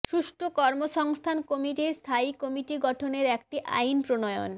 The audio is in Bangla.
সুষ্ঠু কর্মসংস্থান কমিটির স্থায়ী কমিটি গঠনের একটি আইন প্রণয়ন